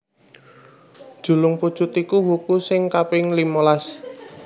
Julungpujut iku wuku sing kaping limalas